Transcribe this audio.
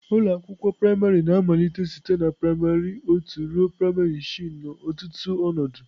Ụlọ akwụkwọ praịmarị na-amalite site na praịmarị otu ruo praịmarị isii n'ọtụtụ ọnọdụ.